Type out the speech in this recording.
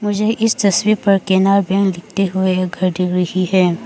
मुझे इस तस्वीर पर केनरा बैंक लिखते हुए घर दिख रही है।